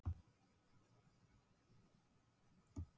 Nú hafa fundist frekari heimildir um einn þátt í samskiptum